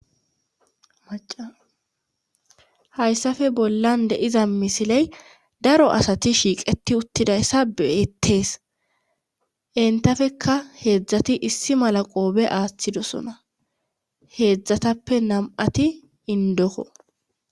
maca hayssafe bollan deiza misiley daro asati shiiqeti uttidayssa beettees entafeka heedzdzati issi mala qoobe aaththidosona heedzdzatappe nam7ati indokko